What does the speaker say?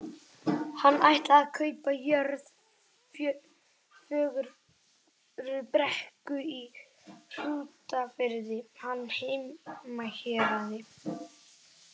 Hann ætlaði að kaupa jörð, Fögrubrekku í Hrútafirði, hans heimahéraði.